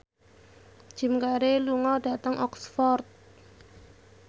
Jim Carey lunga dhateng Oxford